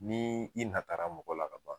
Nii i natara mɔgɔ la kaban